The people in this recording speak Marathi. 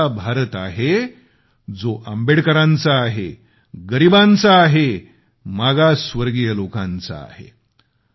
हा असा भारत आहे जो आंबेडकरांचा आहे गरीबांचा आहे मागासवर्गीय लोकांचा आहे